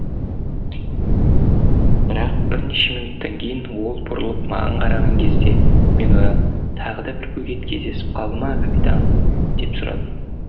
бірақ бірнеше минуттан кейін ол бұрылып маған қараған кезде мен одан тағы да бір бөгет кездесіп қалды ма капитан деп сұрадым